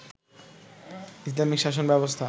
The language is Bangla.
ইসলামিক শাসন ব্যবস্থা